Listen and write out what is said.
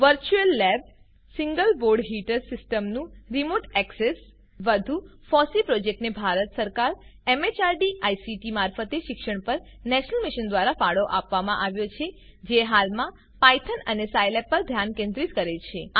virtual lab જે single board heater સીસ્ટમનું remote access wwwco learninweb સભ્સ વધુમાં ફોસી પ્રોજેક્ટને ભારત સરકાર મેહર્દ આઇસીટી મારફતે શિક્ષણ પર નેશનલ મિશન દ્વારા ફાળો આપવામાં આવ્યો છે જે હાલમાં પાયથન અને સાયલેબ પર ધ્યાન કેન્દ્રિત કરે છે